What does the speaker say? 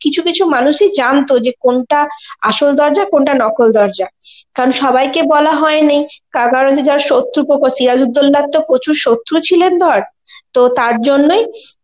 কিছু কিছু মানুষ ই জানত মানে কোনটা আসল দরজা আর কোনটা নকল দরজা, কারণ সবাইকে বলা হয়েনি তার কারণ হচ্ছে যারা শত্রু পক্ষ, সিরাজউদ্দৌলার তো প্রচুর শত্রুপক্ষ ছিলেন ধর তো তার জন্যই